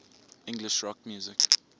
english rock music